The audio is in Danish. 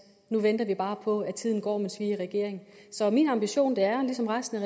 nu venter vi bare på at tiden går mens vi er i regering så min ambition er ligesom resten af